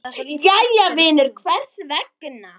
Jæja vinur, hvers vegna?